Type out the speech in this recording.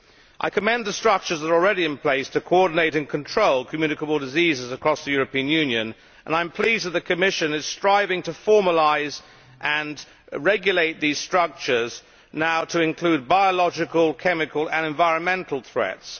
I commend the structures that are already in place to coordinate and control communicable diseases across the European Union and I am pleased that the Commission is striving to formalise and regulate these structures now to include biological, chemical and environmental threats.